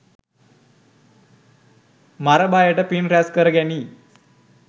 මර බයට පින් රැස් කරගැනී